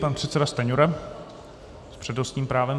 Pan předseda Stanjura s přednostním právem.